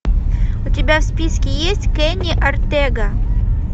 у тебя в списке есть кенни ортега